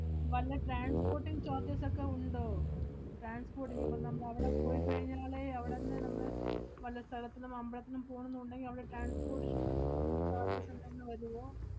വല്ല transporting charges ഒക്കെ ഉണ്ടോ? transporting ഇപ്പ നമ്മളവടെ പോയിക്കഴിഞ്ഞാലെ അവടന്ന് നമ്മള് വല്ല സ്ഥലത്തിനും അമ്പളത്തിനും പോണന്നുണ്ടെങ്കി അവടെ transportation loading charges എന്തെങ്കിലും വരുവോ?